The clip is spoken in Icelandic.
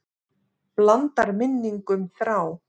Blandar minningum þrá.